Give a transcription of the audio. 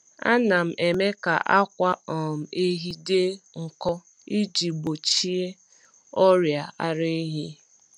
Ana m eme ka akwa um ehi dị nkọ iji gbochie ọrịa ara ehi.